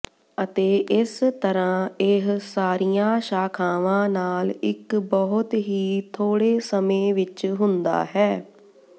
ਅਤੇ ਇਸ ਤਰ੍ਹਾਂ ਇਹ ਸਾਰੀਆਂ ਸ਼ਾਖਾਵਾਂ ਨਾਲ ਇਕ ਬਹੁਤ ਹੀ ਥੋੜੇ ਸਮੇਂ ਵਿਚ ਹੁੰਦਾ ਹੈ